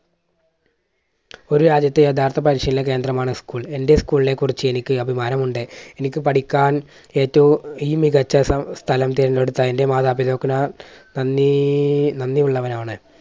ഒരു രാജ്യത്തെ യഥാർത്ഥ പരിശീലന കേന്ദ്രമാണ് school. എൻറെ school നെക്കുറിച്ച് എനിക്ക് അഭിമാനമുണ്ട്. എനിക്ക് പഠിക്കാൻ ഏറ്റവും മികച്ച സ്ഥലം തിരഞ്ഞെടുത്ത എൻറെ മാതാപിതാക്കൾ നന്ദി~നന്ദിയുള്ളവരാണ്.